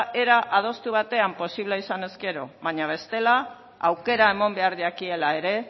era adostu batean posible izanez gero baina bestela aukera eman behar jakiela ere